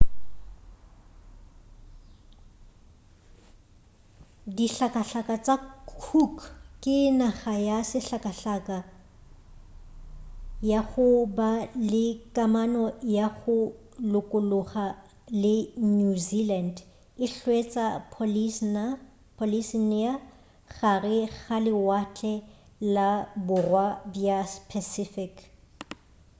dihlakahlaka tša cook ke naga ya sehlakahlaka ya go ba le kamano ya go lokologa le new zealand e hwetšwa polynesia gare ga lewatle la borwa bja pacific